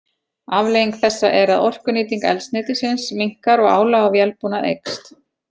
Afleiðing þessa er að orkunýting eldsneytisins minnkar og álag á vélbúnað eykst.